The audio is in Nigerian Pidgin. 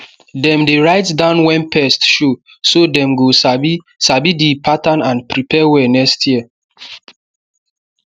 dem dey write down when pest show so dem go sabi sabi the pattern and prepare well next year